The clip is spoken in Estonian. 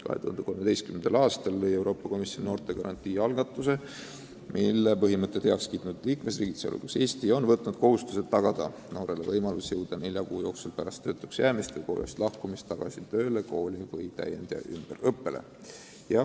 2013. aastal käivitas Euroopa Komisjon noortegarantii algatuse, mille põhimõtted heaks kiitnud liikmesriigid, sh Eesti, on võtnud kohustuse tagada noortele võimalus jõuda nelja kuu jooksul pärast töötuks jäämist või koolist lahkumist tagasi tööle või kooli või minna täiendus- või ümberõppele.